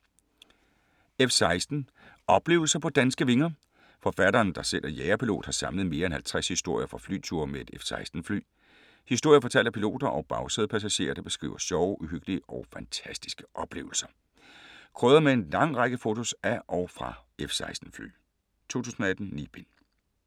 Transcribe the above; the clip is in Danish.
F-16 - oplevelser på danske vinger Forfatteren der selv er jagerpilot har samlet mere end 50 historier fra flyture med et F-16 fly. Historier fortalt af piloter og bagsædepassagerer der beskriver sjove, uhyggelige og fantastiske oplevelser. Krydret med en lang række fotos af og fra F-16 fly. Punktbog 418061 2018. 9 bind.